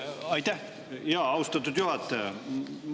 Aitäh, austatud juhataja!